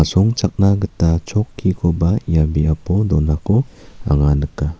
gita chokkikoba ia biapo donako anga nika.